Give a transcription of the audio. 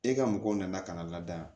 E ka mɔgɔw nana ka na lada yan